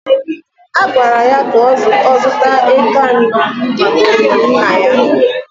A gwara ya ka ọ zụta eke anọ maka olili Nna ya